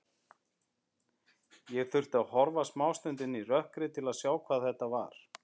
Ég þurfti að horfa smástund inn í rökkrið til að sjá hvað þetta var.